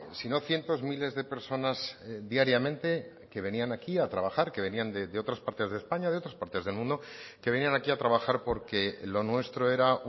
si no cientos miles de personas diariamente que venían aquí a trabajar que venían de otras partes de españa de otras partes del mundo que venían aquí a trabajar porque lo nuestro era